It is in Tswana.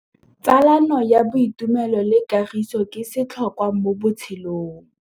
Tsalano ya boitumelo le kagiso ke setlhôkwa mo botshelong.